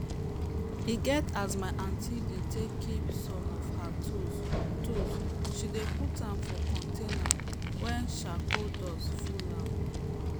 e get as my aunty dey take keep some of her tools tools she dey put am for container wey chracole dust full am